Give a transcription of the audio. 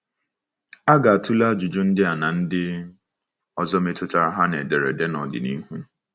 A ga-atụle ajụjụ ndị a na ndị ọzọ metụtara ha n’ederede n'ọdịnihu.